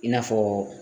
I n'a fɔ